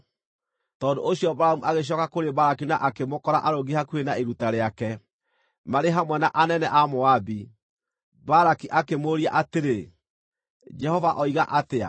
Tondũ ũcio Balamu agĩcooka kũrĩ Balaki na akĩmũkora arũngiĩ hakuhĩ na iruta rĩake, marĩ hamwe na anene a Moabi. Balaki akĩmũũria atĩrĩ, “Jehova oiga atĩa?”